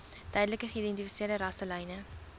duidelik geïdentifiseerde rasselyne